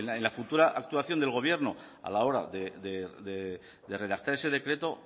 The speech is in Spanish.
en la futura actuación del gobierno a la hora de redactar ese decreto